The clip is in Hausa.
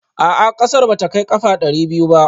A'a ƙasar ba ta kai ƙafa ɗari biyu ba